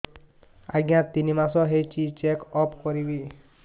ଆଜ୍ଞା ତିନି ମାସ ହେଇଛି ଚେକ ଅପ କରିବି